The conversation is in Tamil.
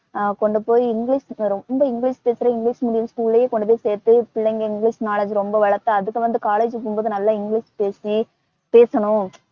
அஹ் கொண்டுபோயி இங்கிலிஷ் ரொம்ப இங்கிலிஷ் பேசற இங்கிலிஷ் medium school லேயே கொண்டுபோயி சேர்த்து பிள்ளைங்க இங்கிலிஷ் knowledge ரொம்ப வளர்த்து அதுக்கு வந்து college போம்போது நல்ல இங்கிலிஷ் பேசி பேசணும்